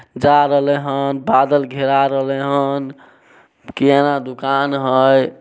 जा रहले हैनबादल घेरा रहले हैन किराना दूकान हेय।